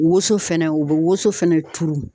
Woso fɛnɛ, u bɛ woso fɛnɛ turu.